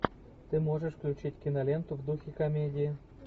ты можешь включить киноленту в духе комедии